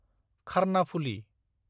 Karnaphuli